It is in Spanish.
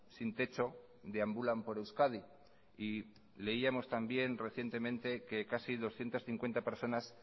sin techo deambulan por euskadi y leíamos también recientemente que casi doscientos cincuenta personas